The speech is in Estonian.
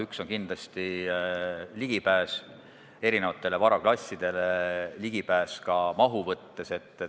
Üks on kindlasti ligipääs erinevatele varaklassidele, ligipääs ka mahu mõttes.